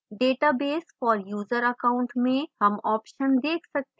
database for user account में हम option देख सकते हैं